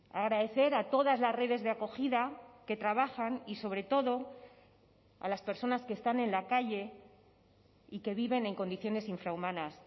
agradecer a todas las redes de acogida que trabajan y sobre todo a las personas que están en la calle y que viven en condiciones infrahumanas